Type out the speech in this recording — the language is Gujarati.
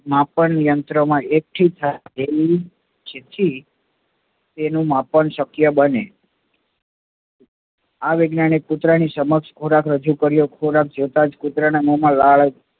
માપન યંત્ર માં એકથી ચિઠ્ઠી તેનું માપન શક્ય બને. આ વૈજ્ઞાનિક કૂતરાની સમક્ષ ખોરાક રજુ કર્યો, ખોરાક જોતા જ કુતરા ના મોમાં લાળ